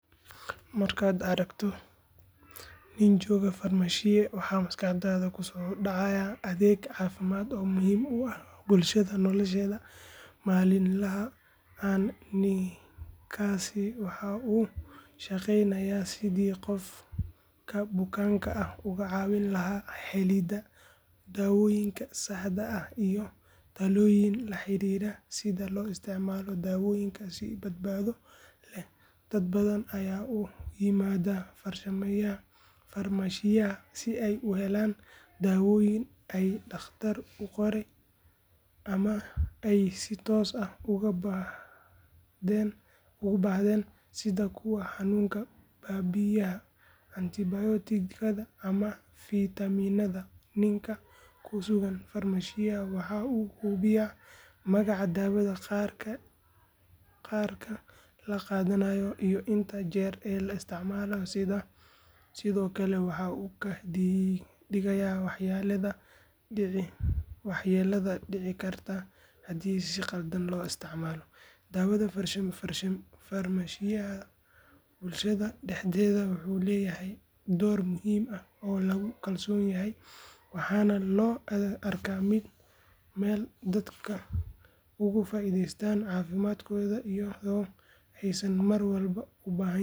Markaad aragto nin jooga farmashiye waxa maskaxdaada ku soo dhacaya adeeg caafimaad oo muhiim u ah bulshada nolosheeda maalinlaha ah ninkaasi waxa uu u shaqeynayaa sidii qofka bukaanka ah uga caawin lahaa helidda dawooyinka saxda ah iyo talooyin la xiriira sida loo isticmaalo daawooyinka si badbaado leh dad badan ayaa u yimaada farmashiyaha si ay u helaan daawooyin ay dhakhtar u qoray ama ay si toos ah ugu baahdeen sida kuwa xanuunka baabi’iya antibiyootikada ama fitamiinada ninka ku sugan farmashiyaha waxa uu hubiyaa magaca daawada qadarka la qaadanayo iyo inta jeer ee la isticmaalo sidoo kale waxa uu ka digayaa waxyeellada dhici karta haddii si khaldan loo isticmaalo daawada farmashiyaha bulshada dhexdeeda wuxuu leeyahay door muhiim ah oo lagu kalsoon yahay waxaana loo arkaa meel dadka uga faa’iideystaan caafimaadkooda iyadoo aysan mar walba u baahnayn.